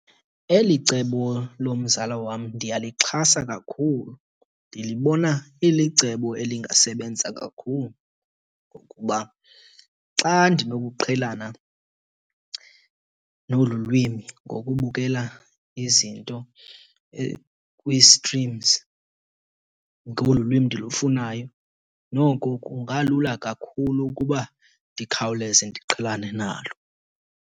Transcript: Eli cebo lomzala wam ndiyalixhasa kakhulu. Ndilibona ilicebo elingasebenza kakhulu. Ngokuba xa ndinokuqhelana nolu lwimi ngokubukela izinto kwi-streams ngolu lwimi ndilifunayo, noko kungalula kakhulu ukuba ndikhawuleze ndiqhelane nalo.